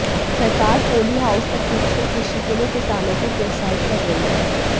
सरकार polyhouse तकनीक से कृषि के लिए किसानों को प्रोत्साहित कर रही है